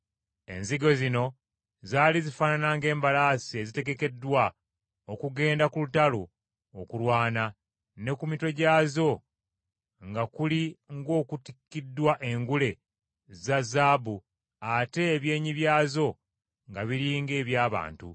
Enzige zino zaali zifaanana ng’embalaasi ezitegekeddwa okugenda ku lutalo okulwana, ne ku mitwe gyazo nga kuli ng’okutikkiddwa engule za zaabu ate ebyenyi byazo nga biri ng’eby’abantu.